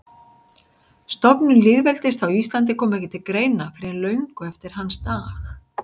Stofnun lýðveldis á Íslandi kom ekki til greina fyrr en löngu eftir hans dag.